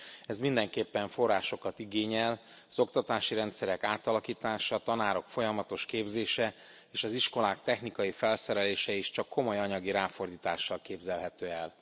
Ez mindenképpen forrásokat igényel, az oktatási rendszerek átalakítása, a tanárok folyamatos képzése és az iskolák technikai felszerelése is csak komoly anyagi ráfordítással képzelhető el.